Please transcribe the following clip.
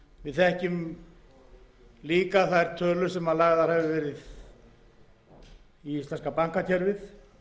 þekkjum líka þær tölur sem lagðar hafa verið í íslenska bankakerfið